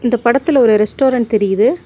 இந்த படத்துல ஒரு ரெஸ்டாரன்ட் தெரிது.